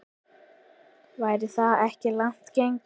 Væri það ekki langt gengið?